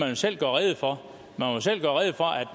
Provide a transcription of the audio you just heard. jo selv gøre rede for